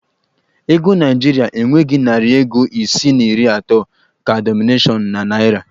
Ego naịjirịa enweghi narị ego isii na iri atọ ka dinọminashịon na naịra.